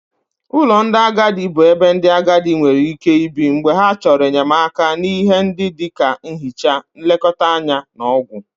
Ụlọ ndị agadi bụ ebe ndị agadi nwere ike ibi mgbe ha chọrọ enyemaka n'ihe ndị dị ka nhicha, nlekọta anya na ọgwụ.